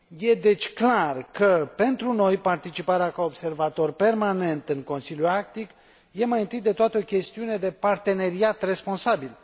Este, deci, clar că, pentru noi, participarea ca observator permanent în Consiliul Arctic este, mai întâi de toate, o chestiune de parteneriat responsabil.